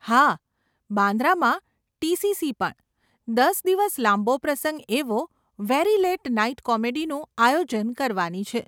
હા, બાન્દ્રામાં ટીસીસી પણ, દસ દિવસ લાંબો પ્રસંગ એવો 'વેરી લેટ નાઈટ કોમેડી' નું આયોજન કરવાની છે.